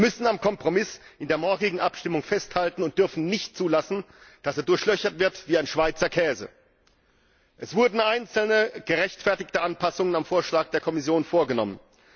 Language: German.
Wir müssen in der morgigen Abstimmung am Kompromiss festhalten und dürfen nicht zulassen, dass er durchlöchert wird wie ein Schweizer Käse. Es wurden einzelne gerechtfertigte Anpassungen am Vorschlag der Kommission vorgenommen.